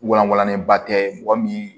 Walangalenba tɛ mɔgɔ min